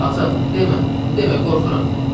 Ata, demə, demə, qorxuram.